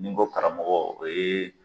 Nin ko karamɔgɔ o yee